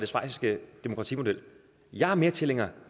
schweiziske demokratimodel jeg er mere tilhænger